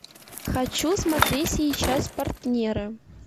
хочу смотреть сейчас партнеры